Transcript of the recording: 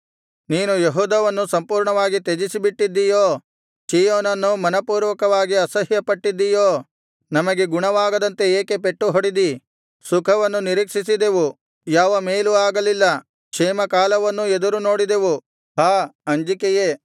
ನೀನು ಯೆಹೂದವನ್ನು ಸಂಪೂರ್ಣವಾಗಿ ತ್ಯಜಿಸಿಬಿಟ್ಟಿದ್ದೀಯೋ ಚೀಯೋನನ್ನು ಮನಃಪೂರ್ವಕವಾಗಿ ಅಸಹ್ಯಪಟ್ಟಿದ್ದಿಯೋ ನಮಗೆ ಗುಣವಾಗದಂತೆ ಏಕೆ ಪೆಟ್ಟುಹೊಡೆದಿ ಸುಖವನ್ನು ನಿರೀಕ್ಷಿಸಿದೆವು ಯಾವ ಮೇಲೂ ಆಗಲಿಲ್ಲ ಕ್ಷೇಮ ಕಾಲವನ್ನೂ ಎದುರುನೋಡಿದೆವು ಹಾ ಅಂಜಿಕೆಯೇ